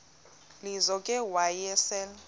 lizo ke wayesel